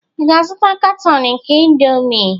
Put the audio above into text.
Ị ga-azụta katọn nke indomie?